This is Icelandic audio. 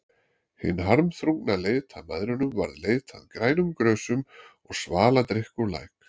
Hin harmþrungna leit að mæðrunum varð leit að grænum grösum og svaladrykk úr læk.